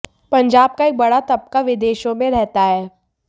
पंजाब का एक बड़ा तबका विदेशों में रहता है